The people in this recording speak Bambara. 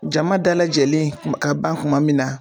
Jama dalajɛlen kuma ka ban kuma min na